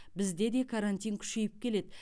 бізде де карантин күшейіп келеді